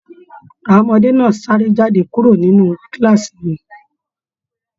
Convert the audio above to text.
Àwọn ọmọdé náà sáré jáde kúrò nínú kàlàásí wọn.